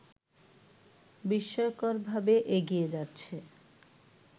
বিস্ময়করভাবে এগিয়ে যাচ্ছে